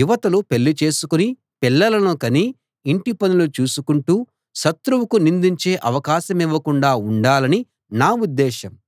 యువతులు పెళ్ళి చేసుకుని పిల్లలను కని ఇంటి పనులు చూసుకుంటూ శత్రువుకు నిందించే అవకాశమివ్వకుండా ఉండాలని నా ఉద్దేశం